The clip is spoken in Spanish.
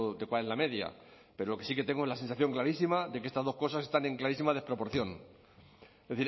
de cuál es la media pero lo que sí que tengo es la sensación clarísima de que estas dos cosas están en clarísima desproporción es